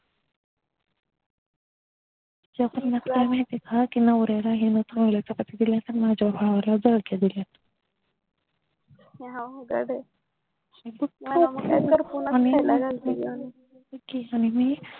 त्यातली त्यात माहितीका नवऱ्याला हीन चांगल्या चपात्या दिल्यात माझ्या भावाला जळक्या दिल्यात अवघडय हे बघ कि आणि मी